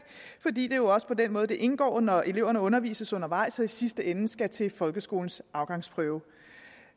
fordi det jo også er på den måde det indgår når eleverne undervises undervejs og i sidste ende skal til folkeskolens afgangsprøve